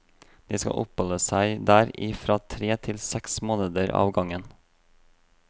De skal oppholde seg der i fra tre til seks måneder av gangen.